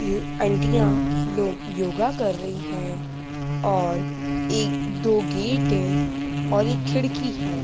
ये आंटियां यो योगा कर रही हैं और एक दो गेट हैं और एक खिड़की है।